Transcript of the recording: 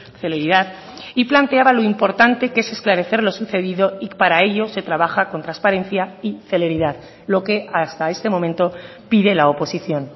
celeridad y planteaba lo importante que es esclarecer lo sucedido y para ello se trabaja con transparencia y celeridad lo que hasta este momento pide la oposición